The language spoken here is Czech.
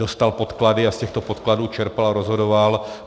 Dostal podklady a z těchto podkladů čerpal a rozhodoval.